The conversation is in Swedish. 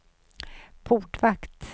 portvakt